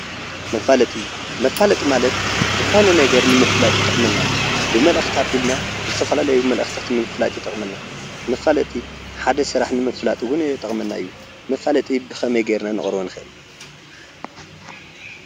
መፋለጢ መፋለጢ ማለት ዝኾነ ነገር ንምፍላጥ ዝጠቕምና ብመልእኽቲ ኣቢልና ዝተፈላለዩ መልእኽቲታት ንምፍላጥ ይጠቕመና መፋለጢ ሓደ ስራሕ ንምፍላጥ እውን ይጠቕመና እዩ መፋለጢ ብኸመይ ጌርና ክነቕርቦ ንኽእል።